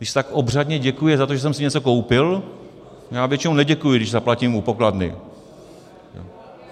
Když se tak obřadně děkuje za to, že jsem si něco koupil - já většinou neděkuji, když zaplatím u pokladny.